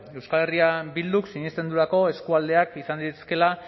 euskal herria bilduk sinesten duelako eskualdeak izan daitezkeela